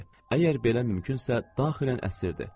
Əgər belə mümkünsə, daxilən əsirdi.